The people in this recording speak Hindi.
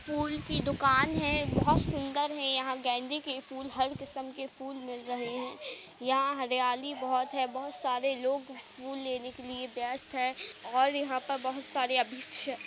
फूल की दुकान है। बहुत सुंदर है। यहाँ गेंदे के फूल हर किस्म के फूल मिल रहे हैं। यहाँ हरियाली बहोत है। बहोत सारे लोग फूल लेने के लिए व्यस्त है और यहाँ पर बहोत सारे --